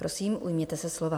Prosím, ujměte se slova.